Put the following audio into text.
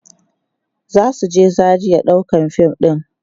zasu je Zaria ɗaukan fim ɗin